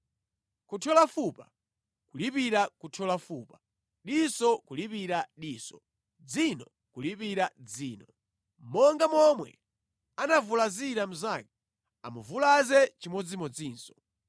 kuthyola fupa kulipira kuthyola fupa, diso kulipira diso, dzino kulipira dzino. Monga momwe anavulazira mnzake, amuvulaze chimodzimodzinso.